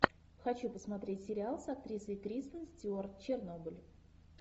хочу посмотреть сериал с актрисой кристен стюарт чернобыль